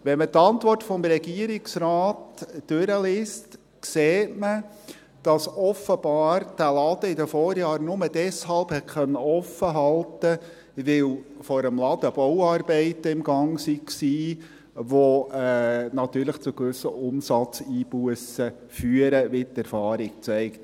Wenn man die Antwort des Regierungsrates durchliest, sieht man, dass der Laden offenbar in den Vorjahren nur deshalb offen gehalten werden konnte, weil vor dem Laden Bauarbeiten im Gange waren, welche natürlich zu gewissen Umsatzeinbussen führen, wie die Erfahrung zeigt.